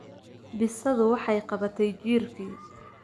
Bisadu waxay qabatay jiirkii.